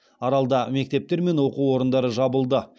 аралда мектептер мен оқу орындары жабылды